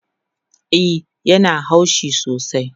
E, ya na haushi sosai